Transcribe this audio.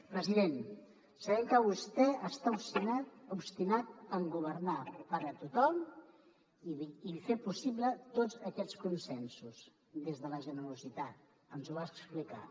president sabem que vostè està obstinat en governar per a tothom i fer possible tots aquests consensos des de la generositat ens ho va explicar